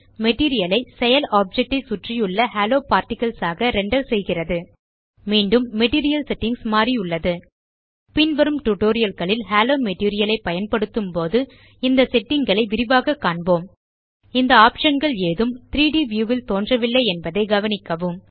material ஐ செயல் object ஐ சுற்றியுள்ள ஹாலோ பார்ட்டிகிள்ஸ் ஆக ரெண்டர் செய்கிறது மீண்டும் மெட்டீரியல் செட்டிங்ஸ் மாறியுள்ளது பின்வரும் டியூட்டோரியல் களில் ஹாலோ மெட்டீரியல் ஐ பயன்படுத்தும் போது இந்த செட்டிங் களை விரிவாக காண்போம் இந்த optionகள் ஏதும் 3ட் வியூ ல் தோன்றவில்லை என்பதை கவனிக்கவும்